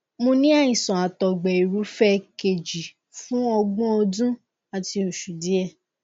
mo ní àìsàn àtọgbẹirúfẹ kejì fún ọgbọn ọdún àti oṣù díẹ